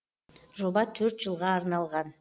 жоба төрт жылға арналған